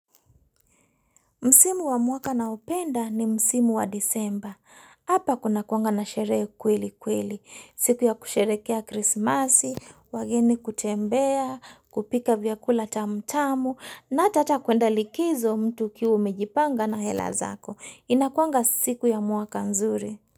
Msimu wa mwaka naopenda ni Msimu wa disemba. Hapa kunakuanga na sherehe kweli kweli. Siku ya kusherekea krismasi, wageni kutembea, kupika vyakula tamu tamu, na hata kuenda likizo mtu ukiwa umejipanga na hela zako. Inakuanga siku ya mwaka nzuri.